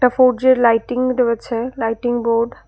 ফোরজির lighting রয়েছে lighting board.